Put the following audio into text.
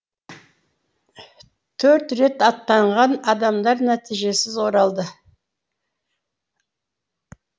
төрт рет аттанған адамдар нәтижесіз оралды